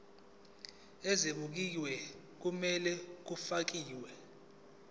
ezibekiwe okumele kufakelwe